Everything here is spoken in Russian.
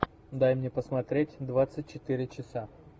дай мне посмотреть двадцать четыре часа